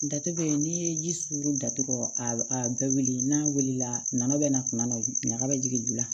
Datugu bɛ yen n'i ye ji sugu datugu a bɛɛ wulili n'a wulila na bɛ na kuma na ɲaga bɛ jigin ju la